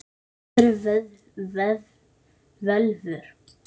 Hvað eru völvur?